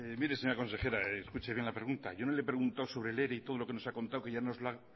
mire señora consejera escuche bien la pregunta yo no le he preguntado sobre el ere y todo lo que nos ha contado que ya nos lo ha